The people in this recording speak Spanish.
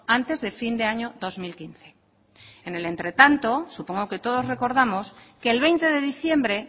antes de fin de año dos mil quince en el entretanto supongo que todos recordamos que el veinte de diciembre